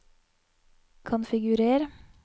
konfigurer